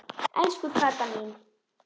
Elsku Kata mín.